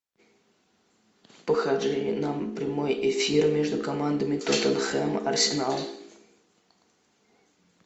покажи нам прямой эфир между командами тоттенхэм арсенал